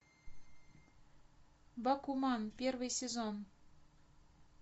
бакуман первый сезон